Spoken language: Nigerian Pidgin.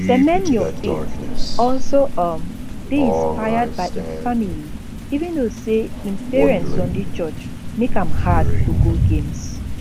semenyo faith also um dey inspired by im family even though say im parents sunday church make am hard to go games